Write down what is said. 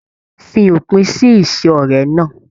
Fí òpin sí ise ọrẹ náà!